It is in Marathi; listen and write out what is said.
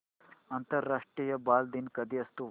आंतरराष्ट्रीय बालदिन कधी असतो